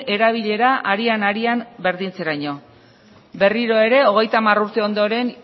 erabilera arian arian berdintzeraino berriro ere hogeita hamar urte ondoren